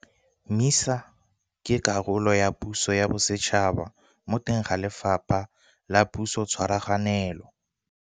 MISA ke karolo ya puso ya bosetšhaba mo teng ga Lefapha la Pusotshwaraganelo.